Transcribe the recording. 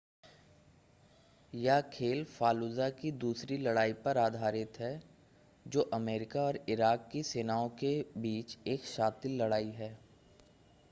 यह खेल फालुजा की दूसरी लड़ाई पर आधारित है जो अमेरिका और इराक की सेनाओं के बीच एक शातिर लड़ाई है